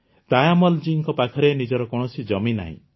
ତାୟମ୍ମଲ ଜୀଙ୍କ ପାଖରେ ନିଜର କୌଣସି ଜମି ନାହିଁ